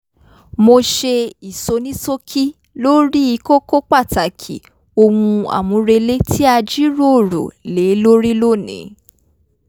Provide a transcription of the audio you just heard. mo ṣe ìsonísókí lórí kókó pàtàkì ohun àmúrelé tí a jíròrò lé lórí lónìí